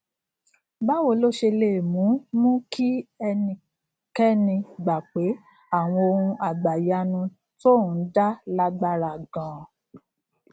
báwo ló ṣe lè mú mú kí ẹnikéni gbà pé àwọn ohun àgbàyanu tóun dá lágbára ganan